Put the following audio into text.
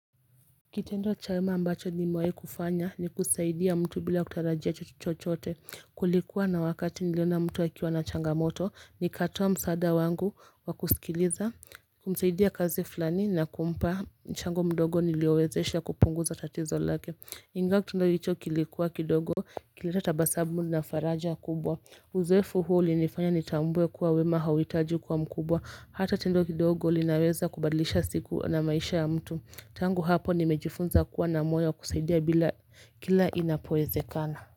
Kitendo cha wema ambacho nimewahi kufanya ni kusaidia mtu bila kutarajia chochote kulikuwa na wakati niliona mtu akiwa na changamoto nikatoa msaada wangu wa kusikiliza kumsaidia kazi fulani na kumpa mchango mdogo niliowezesha kupunguza tatizo lake. Ingawa kitendo hicho kilikuwa kidogo kilileta tabasamu na faraja kubwa Uzoefu huo ulinifanya nitambue kuwa wema hauhitaji kwa mkubwa Hata tendo kidogo linaweza kubadlisha siku na maisha ya mtu Tangu hapo nimejifunza kuwa na moyo wa kusaidia kila inapowezekana.